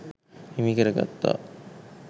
හිමිකරගත්තා